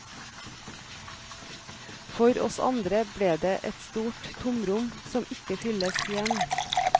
For oss andre ble det et stort tomrom som ikke fylles igjen.